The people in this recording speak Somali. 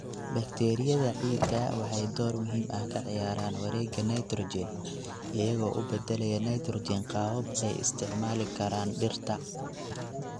Bakteeriyada ciidda waxay door muhiim ah ka ciyaaraan wareegga nitrogen, iyagoo u beddelaya nitrogen qaabab ay isticmaali karaan dhirta.